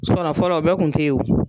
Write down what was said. fɔlɔ o bɛɛ tun te ye o.